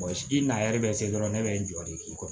Mɔgɔ si i nari bɛ se dɔrɔn ne bɛ n jɔ de k'i kɔnɔ